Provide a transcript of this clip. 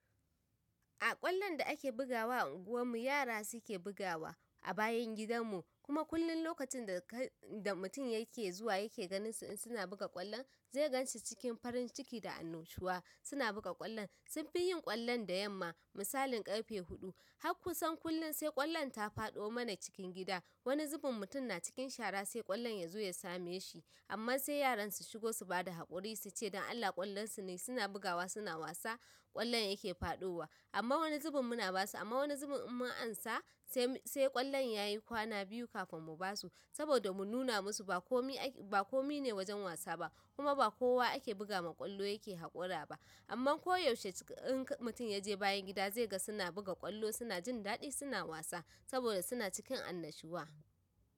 A ƙwallon da ake bugawa anguwan mu yara suke bugawa a bayan gidan mu kuma kullum lokacin da mutum yake zuwa yake ganin su in suna buga ƙwallon zai gan shi cikin farin ciki da annashuwa suna buga ƙwallon sunfi yin ƙwallon da yamma misalin ƙarfe huɗu har kusan kullum sai ƙwallon ta faɗo mana cikin gida wani zubin mutum na cikin shara sai ƙwallon ya zo ya same shi amma sai yaran su shigo su bada haƙuri suce don Allah ƙwallon su ne suna bugawa suna wasa ƙwallon yake faɗowa amma wani zubin muna basu amma wani zubin in mun ansa sai ƙwallon yayi kwana biyu kafin mu basu sabo da mu nuna musu bakomai ake. Ba komai ne wajen wasa ba kuma ba kowa ake buga ma ƙwallo yake haƙura ba amma koyaushe in mutum yaje bayan gida zai ga suna buga ƙwallo suna jin daɗi suna wasa saboda suna cikin annashuwa.